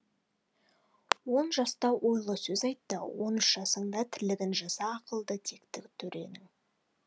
он жаста ойлы сөз айт та он үш жасыңда тірлігін жаса ақылды текті төренің